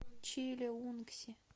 чилеунгси